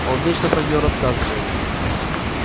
он вечно про нее рассказывает